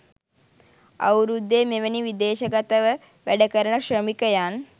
අවුරුද්දේ මෙවැනි විදේශගතව වැඩ කරන ශ්‍රමිකයන්